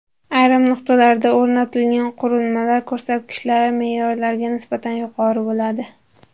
Ayrim nuqtalarda o‘rnatilgan qurilmalar ko‘rsatkichlari me’yorlarga nisbatan yuqori bo‘ladi.